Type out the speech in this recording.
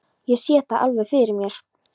Ég sé það alveg fyrir mér.